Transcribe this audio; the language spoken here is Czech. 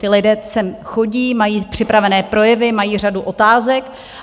Ti lidé sem chodí, mají připravené projevy, mají řadu otázek.